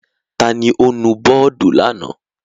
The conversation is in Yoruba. Ta ni ó nu bọ́ọ́dù lánàá?